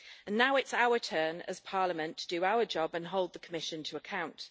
Now it's our turn as Parliament to do our job and hold the Commission to account.